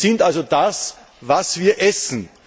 Wir sind also das, was wir essen.